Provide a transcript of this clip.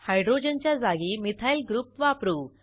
हायड्रोजनच्या जागी methyl group वापरू